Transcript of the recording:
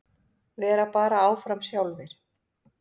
Vera bara áfram sjálfir.